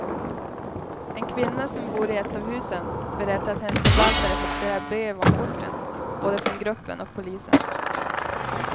En kvinna som bor i ett av husen berättar att hennes förvaltare fått flera brev om porten, både från gruppen och polisen.